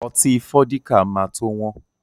Ọtí Fọ́díkà ma tó wọ́n